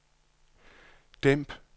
dæmp